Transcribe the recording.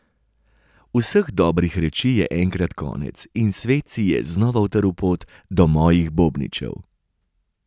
Vseh dobrih reči je enkrat konec in svet si je znova utrl pot do mojih bobničev.